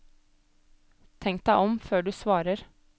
Tenk deg om før du svarer.